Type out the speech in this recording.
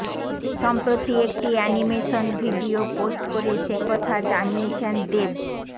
সম্প্রতি একটি animation video post করে সেকথা জানিয়েছেন দেব